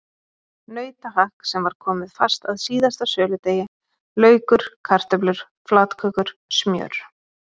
Nautahakk sem var komið fast að síðasta söludegi, laukur, kartöflur, flatkökur, smjör.